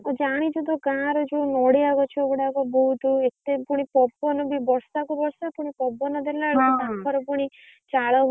ଆଉ ଜାଣିଛୁ ତ ଗାଁରେ ଯୋଉ ନଡିଆ ଗଛ ଗୁଡାକ ବହୁତ ଏତେ ଫୁଣି ପବନବି ବର୍ଷାକୁ ବର୍ଷା ଫୁଣି ପବନ ଦେଲାବେଳକୁ ତାଙ୍କର ଫୁଣି ଚାଳଘର।